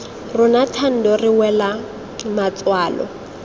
rona thando re wela matswalo